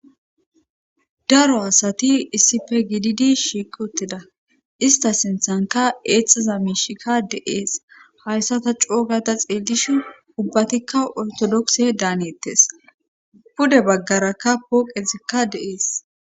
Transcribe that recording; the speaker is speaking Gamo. Daro asati issife gididi shiikuttida ista sinthanka eexiza miishika de7ees hayssa ta coogata xeelish ubbatikka ortodokse daanettes pude baggarakka pooqezikka deees